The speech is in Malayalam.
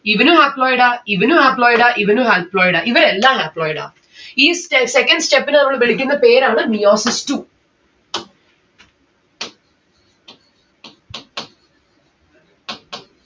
ഇവനു Haploid ആ ഇവനു Haploid ആ ഇവനു Haploid ആ ഇവരെല്ലാം Haploid ആ. ഈ ste second step നെ നമ്മള് വിളിക്കുന്ന പേരാണ് meiosis two